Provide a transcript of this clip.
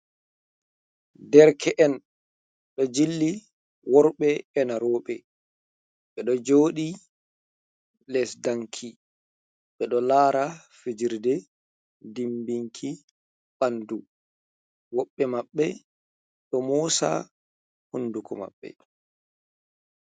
Derke'en ɗo jilli worɓe ena roɓe, ɓe ɗo joɗi les danki ɓe ɗo lara fijirde dimbinki ɓandu, woɓɓe maɓɓe ɗo mosa hunduko maɓɓe.